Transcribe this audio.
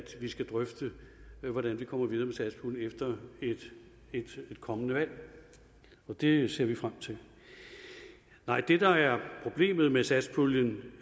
vi skal drøfte hvordan vi kommer videre med satspuljen efter et kommende valg og det ser vi frem til nej det der er problemet med satspuljen